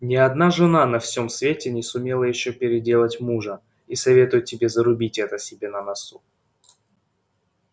ни одна жена на всем свете не сумела ещё переделать мужа и советую тебе зарубить это себе на носу